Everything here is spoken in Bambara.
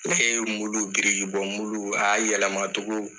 Ne ye mulu biriki bɔ mulu a y'a yɛlɛma togo